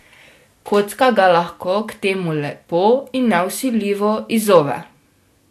Kocka ga lahko k temu lepo in nevsiljivo izzove.